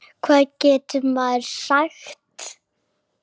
Hvað getur maður sagt.